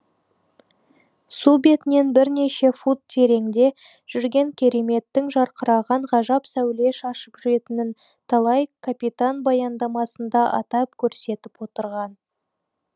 су бетінен бірнеше фут тереңде жүрген кереметтің жарқыраған ғажап сәуле шашып жүретінін талай капитан баяндамасында атап көрсетіп отырған